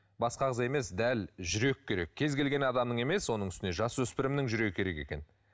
басқа ағза емес дәл жүрек керек кез келген адамның емес оның үстіне жасөспірімнің жүрегі керек екен